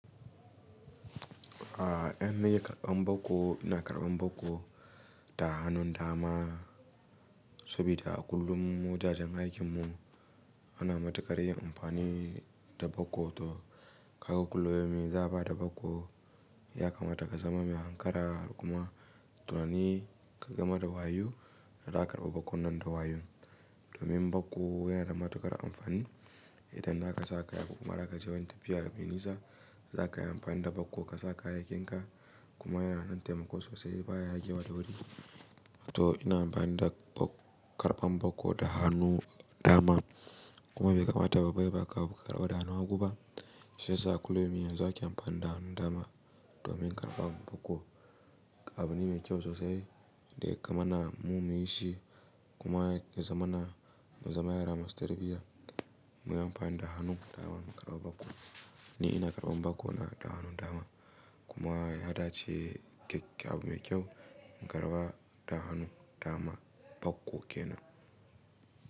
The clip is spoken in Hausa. Ah, 'yan nayi karban bakko, ina karban bakko da hannun dama saboda a kullum mujajen aikin mu ana matuƙar yin amfani da bako to ka ga kuluyaumin za ba da bako ya kamata ka zama mai hankara kuma tunani ka ga ma da wayo, da a ka karɓa bakon nan da wayo. Domin bako yana da matuƙar amfani idan daka sa kaya ko kuma zaka je wani tafiya mai nisa, zaka yi amfani da bako ka sa kayayyakin ka kuma yana dan taimako sosai baya yagewa da wuri. To ina amfani da karban bako da hannu dama, kuma bai kamata babba ya baka abu ka karɓa da hannun hagu ba, shi yasa kulliyaumin ake amfani da hannun dama domin karɓan bako. Abu ne mai kyau sosai da ya kamana mu na yin shi kuma ya zamana ya zamayi rana mu ziyartiya muyi amfani da hannun dama karɓa bako. Ni ina karɓan bako da hannun dama kuma ya dace keke abu mai kyau in karɓa da hannu dama bako ke nan.